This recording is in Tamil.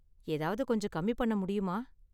ஏதாவது கொஞ்சம் கம்மி பண்ண முடியுமா?